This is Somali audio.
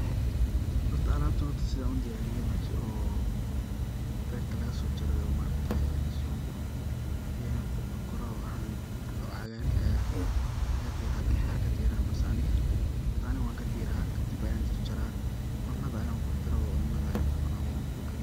Horta alabatan horta sidan udiyariyo marki oo berta lagaso jaroo oo ma aragtaye lasoo guro yan qubka koroo cagarka aya laga diraa dadka qar kadiran balse aniga horta wan kadiraa kadib ayan jarjaraa, cunada ayan ku kor daraa, cunada ayan kucunaa on ku kaariya